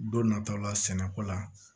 Don nataw la sɛnɛko la